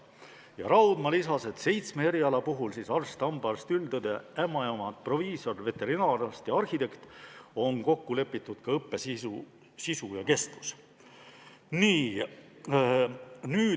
Tiia Raudma täiendas, et seitsme eriala puhul – arst, hambaarst, üldõde, ämmaemand, proviisor, veterinaararst ja arhitekt – on kokku lepitud ka õppe sisu ja kestus.